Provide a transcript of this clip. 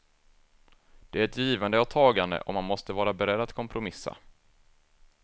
Det är ett givande och tagande, och man måste vara beredd att kompromissa.